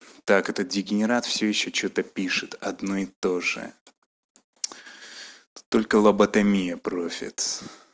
так этот дегенерат все ещё что-то пишет одно и тоже тут только лоботомия профит